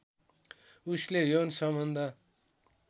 उसले यौन सम्बन्ध